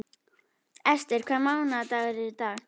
Esther, hvaða mánaðardagur er í dag?